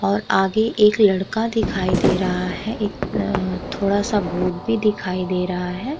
और आगे एक लड़का दिखाई दे रहा है। एक अ थोड़ा सा बोर्ड भी दिखाई दे रहा है।